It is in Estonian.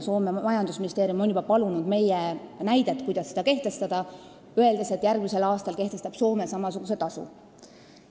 Soome majandusministeerium on juba palunud meie kogemusi, kuidas seda kehtestada, öeldes, et järgmisel aastal kehtestab Soome samasuguse tasu.